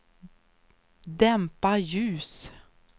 dämpa ljus